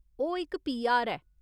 ओह् इक पीआर ऐ।